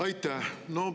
Aitäh!